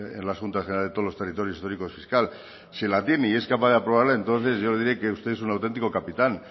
en las juntas generales de todos los territorios históricos fiscales si la tiene y es capaz de aprobarla entonces yo le diré que usted es un auténtico capitán